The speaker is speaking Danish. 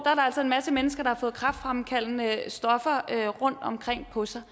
altså en masse mennesker der har fået kræftfremkaldende stoffer rundtomkring på sig